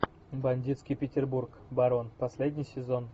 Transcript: бандитский петербург барон последний сезон